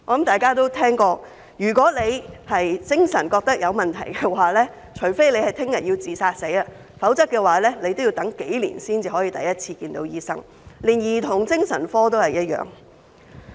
大家想必聽過，如果病人自覺精神有問題，除非明天便要自殺，否則也要等上數年才可第一次見到醫生；兒童精神科的情況亦然。